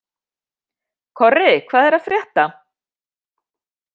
Korri, hvað er að frétta?